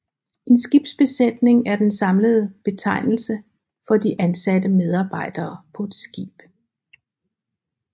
En skibsbesætning er den samlende betegnelse for de ansatte medarbejdere på et skib